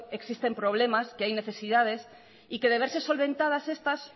existen problemas que hay necesidades y que de verse solventadas estas